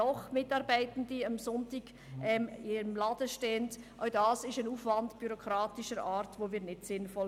Wir finden diesen bürokratischen Aufwand nicht sinnvoll.